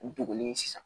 U degunnen sisan